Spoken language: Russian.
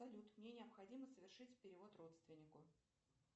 салют мне необходимо совершить перевод родственнику